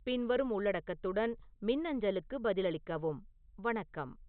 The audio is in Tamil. பின்வரும் உள்ளடக்கத்துடன் மின்னஞ்சலுக்கு பதிலளிக்கவும் வணக்கம்